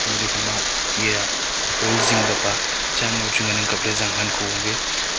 toh le ekhama eya hall zing ka pa cha mua chu ngan ang kap ley zang han kho ankhe.